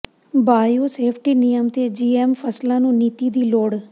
bio safety ਨਿਯਮ ਤੇ GM ਫ਼ਸਲਾਂ ਨੂੰ ਨੀਤੀ ਦੀ ਲੋੜ